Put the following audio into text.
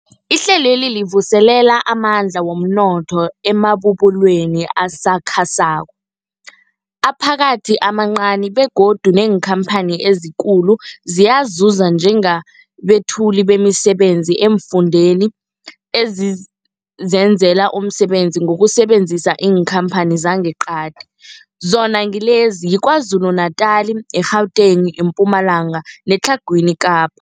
Ihlelweli livuselela amandla womnotho emabubulweni asakhasako, aphakathi namancani begodu neenkhamphani ezikulu ziyazuza njengabethuli bemisebenzi eemfundeni ezizenzela umsebenzi ngokusebenzisa iinkhamphani zangeqadi, zona ngilezi, yiKwaZulu-Natala, i-Gauteng, iMpumalanga neTlhagwini Kapa.